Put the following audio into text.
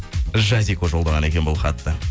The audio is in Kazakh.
жазико жолдаған екен бұл хатты